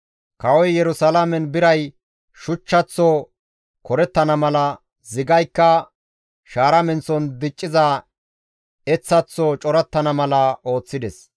Kawoy Yerusalaamen biray shuchchaththo korettana mala, zigaykka shaara menththon dicciza eththaththo corattana mala ooththides.